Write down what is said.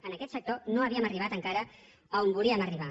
en aquest sector no havíem arribat encara on volíem arribar